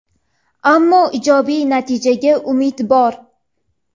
ammo ijobiy natijaga umid bor.